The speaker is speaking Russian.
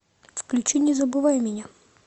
включи не забывай меня